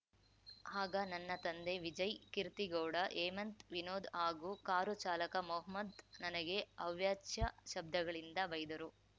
ಆಗ ನನ್ನ ತಂದೆ ವಿಜಯ್‌ ಕೀರ್ತಿಗೌಡ ಹೇಮಂತ್‌ ವಿನೋದ್‌ ಹಾಗೂ ಕಾರು ಚಾಲಕ ಮೊಹಮ್ಮದ್‌ ನನಗೆ ಅವಾಚ್ಯ ಶಬ್ದಗಳಿಂದ ಬೈದರು